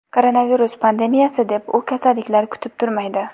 Koronavirus pandemiyasi deb, u kasalliklar kutib turmaydi.